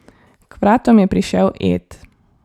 K vratom je prišel Ed.